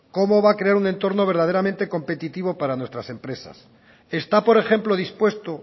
cómo va a crear un entorno verdaderamente competitivo para nuestras empresas está por ejemplo dispuesto